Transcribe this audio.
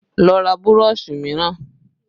Lọ ra burọ̀ṣì mìíràn!